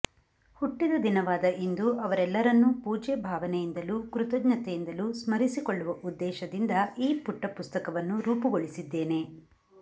ಹುಟ್ಟಿದ ದಿನವಾದ ಇಂದು ಅವರೆಲ್ಲರನ್ನೂ ಪೂಜ್ಯ ಭಾವನೆಯಿಂದಲೂ ಕೃತಜ್ಞತೆಯಿಂದಲೂ ಸ್ಮರಿಸಿಕೊಳ್ಳುವ ಉದ್ದೇಶದಿಂದ ಈ ಪುಟ್ಟ ಪುಸ್ತಕವನ್ನು ರೂಪಗೊಳಿಸಿದ್ದೇನೆ